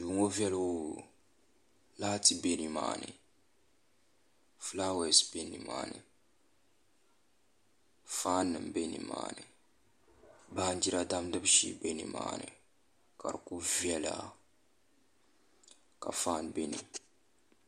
Duu ŋɔ viɛli hoo laati bɛ nimaani fulaawɛs bɛ nimaani faan nim bɛ nimaani baanjira damgibu shee bɛ nimaani ka di ku viɛla ka faan bɛ dinni